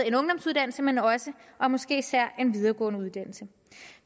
en ungdomsuddannelse men også og måske især en videregående uddannelse